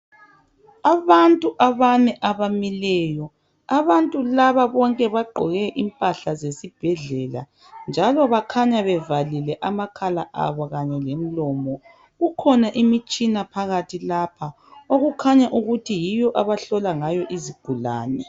Abantu abane abamileyo abantu laba bonke bagqoke impahla zesibhedlela njalo bakhanya bevalile amakhala abo kanye lemilomo kukhona imitshina phakathi lapha okukhanya ukuthi yiyo abahlola ngayo izigulani